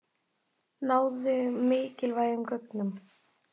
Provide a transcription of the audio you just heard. Náðu mikilvægum gögnum